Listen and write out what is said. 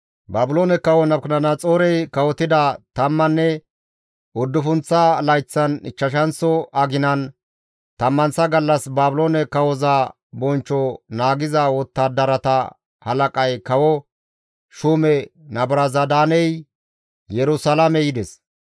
Baabiloone kawo Nabukadanaxoorey kawotida tammanne uddufunththa layththan ichchashanththo aginan tammanththa gallas Baabiloone kawoza bonchcho naagiza wottadarata halaqay kawo shuume Nabuzaradaaney Yerusalaame yides.